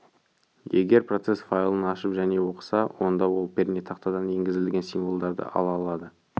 егер процесс файлын ашып және оқыса онда ол пернетақтадан енгізілген символдарды ала алады